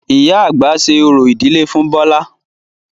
Ìyá àgbà ṣe orò ìdílé fún Bọlá